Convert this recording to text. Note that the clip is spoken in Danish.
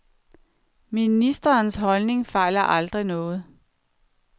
Ministerens holdning fejler aldrig noget.